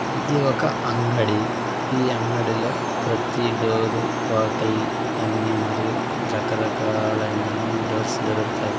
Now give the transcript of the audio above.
ఇది ఒక అంగడి ఈ అంగడిలో ప్రతి డోరు రోకలి అన్ని మరియు రకరకాలైన అన్ని డోర్స్ దొరుకుతాయ్.